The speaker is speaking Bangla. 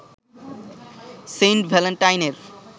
সেইন্ট ভ্যালেন্টাইনের